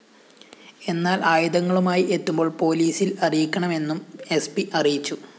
എന്നാല്‍ ആയുധങ്ങളുമായി എത്തുമ്പോള്‍ പോലീസില്‍ അറിയിക്കണമെന്നും എസ്‌പി അറിയിച്ചു